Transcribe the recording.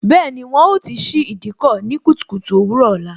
Bẹẹni, wọn ó ti ṣí Ìdíkọ̀ ní kùtùkùtù òwúrò ọ̀la